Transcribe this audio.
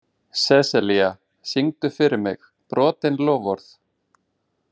Seselía, syngdu fyrir mig „Brotin loforð“.